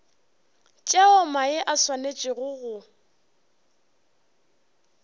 tšeo mae a swanetšego go